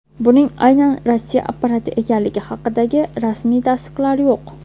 Buning aynan Rossiya apparati ekanligi haqidagi rasmiy tasdiqlar yo‘q.